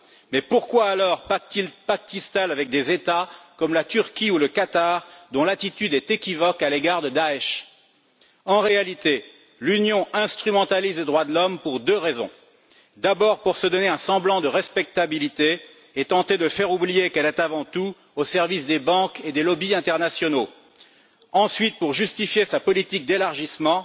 Mais pourquoi pactise t elle alors avec des États comme la Turquie ou le Qatar, dont l'attitude est équivoque à l'égard du groupe État islamique? En réalité, l'Union instrumentalise les droits de l'homme pour deux raisons d'abord, pour se donner un semblant de respectabilité et tenter de faire oublier qu'elle est avant tout au service des banques et des lobbies internationaux ensuite, pour justifier sa politique d'élargissement,